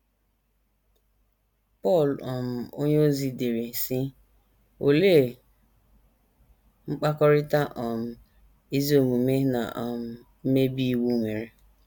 Pọl um onyeozi dere, sị: “ Olee mkpakọrịta um ezi omume na um mmebi iwu nwere?